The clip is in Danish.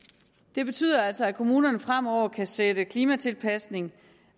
det betyder altså at kommunerne fremover kan sætte klimatilpasning